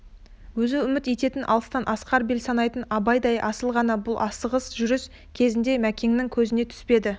өзі үміт ететін алыстан асқар бел санайтын абайдай асыл аға бұл асығыс жүріс кезінде мәкеннің көзіне түспеді